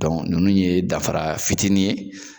ninnu ye dafara fitini ye.